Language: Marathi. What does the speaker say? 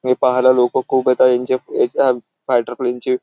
हे पहाला लोकं खूप येतात ह्यांच्या फाइटर प्लेन चे --